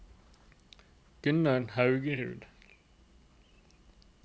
Gunnar Haugerud